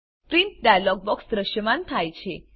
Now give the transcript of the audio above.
print dialog box દ્રશ્યમાન થાય છે